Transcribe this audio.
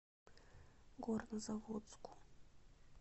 горнозаводску